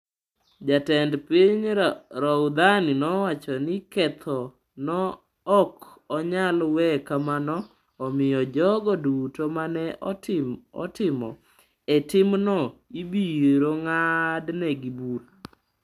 Jatend piny Rouhani nowacho ni ketho no ok nyal we kamano, omiyo jogo duto ma ne otimo e timno ibiro ng’adnegi bura.